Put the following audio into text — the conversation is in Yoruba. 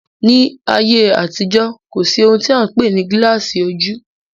Ní ayé àtijó, kò sí ohun tí a n pè ní gilasi ojú